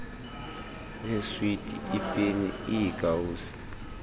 neeswiti iipeni iikawusi